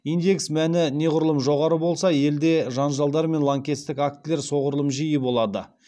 индекс мәні неғұрлым жоғары болса елде жанжалдар мен лаңкестік актілер соғұрлым жиі болады